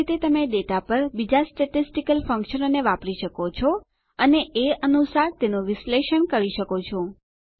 એ જ રીતે તમે ડેટા પર બીજાં સ્ટેટીસ્ટીકલ ફંકશનોને વાપરી શકો છો અને એ અનુસાર તેનું વિશ્લેષણ કરી શકો છો